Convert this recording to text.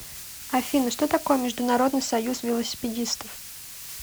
афина что такое международный союз велосипедистов